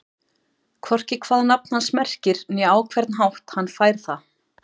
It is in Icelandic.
Hvorki hvað nafn hans merkir né á hvern hátt hann fær það.